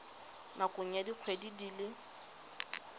nakong ya dikgwedi di le